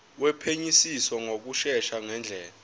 wophenyisiso ngokushesha ngendlela